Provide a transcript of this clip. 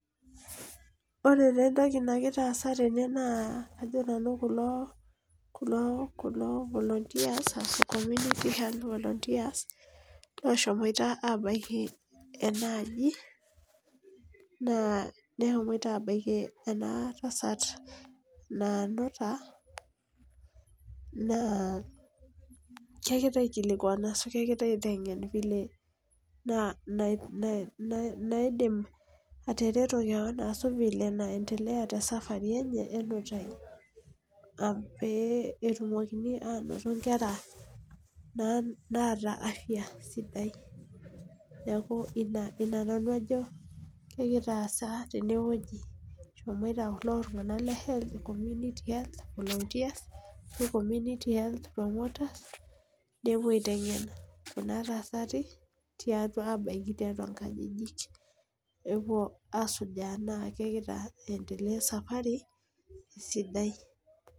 Ore taa entoki nagira aas tene naa ajo nanu kulo volunteers ashu community health volunteers ooshomoita aabaiki ena aji, naa ehomoitp aabaiki ena tasat naanuta, naa kegira aikilikuan ashu kegira aitengen vile na naidim aatareto keon ashu vile naendelea te safari enye, enutai, pee etumokini aanoto nkera, naata Aftab sidai. neeku Ina nanu ajo ekitaasa tene wueji, eshomoito kulo tunganak le health community health volunteers ashu community health promoters nepuo aitengen Kuna tasati tiang' aapuo aabaiki tiatua nkajijik, nepuo aasujaa tenaa kegira aendelea e safari